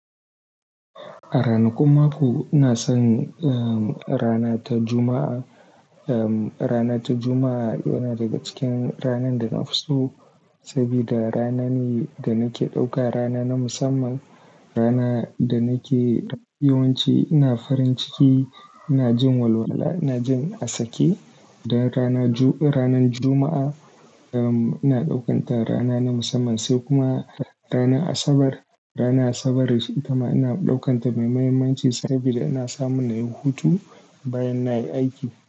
A ranakun mako ina son, um, rana ta Juma'a. Um, rana ta Juma'a yana daga cikin ranan da na fi so saboda rana ne da nake ɗauka rana na musamman. Rana da nake yawanci ina farin ciki, ina jin walwala, ina jin asake. Dan rana-- ranan Juma'a, um, ina ɗaukanta rana na musamman. Sai kuma rana Asabar. Rana Asabar ita ma ina ɗaukanta mai muhimmanci saboda ina samun na yi hutu bayan na yi aiki.